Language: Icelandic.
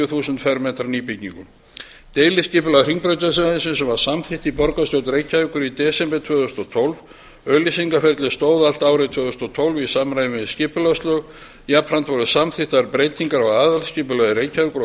þúsund fermetra nýbyggingu deiliskipulag hringbrautarsvæðisins var samþykkt í borgarstjórn reykjavíkur í desember tvö þúsund og tólf auglýsingaferlið stóð allt árið tvö þúsund og tólf í samræmi við skipulagslög jafnframt voru samþykktar breytingar á aðalskipulagi reykjavíkur